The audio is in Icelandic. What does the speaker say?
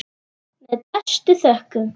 Með bestu þökkum.